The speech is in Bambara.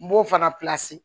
N b'o fana